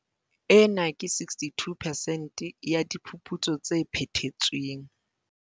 Ena ke 62 percent ya diphuputso tse phethetsweng.